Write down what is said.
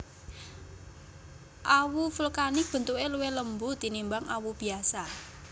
Awu vulkanik bentuke luwih lembut tinimbang awu biasa